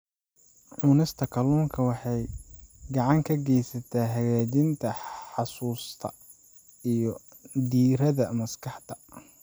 Cunista kalluunka waxay gacan ka geysataa hagaajinta xusuusta iyo diiradda maskaxda.